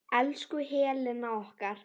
Elsku Helena okkar.